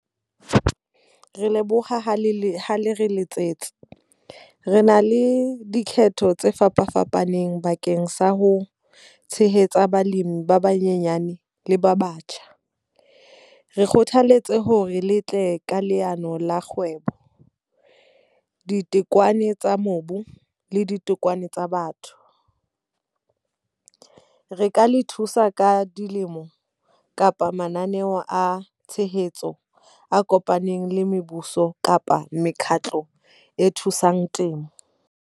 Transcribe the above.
Re leboha ha le le ha le re letsetse. Re na le dikgetho tse fapafapaneng bakeng sa ho tshehetsa balemi ba banyenyane le ba batjha. Re kgothaletse hore le tle ka leano la kgwebo, ditokomane tsa mobu, le ditokomane tsa batho. Re ka le thusa ka dilemo kapa mananeo a tshehetso a kopaneng le mebuso kapa mekhatlo e thusang temo.